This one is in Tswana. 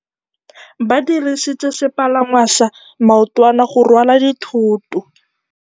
Ba dirisitse sepalangwasa maotwana go rwala dithôtô.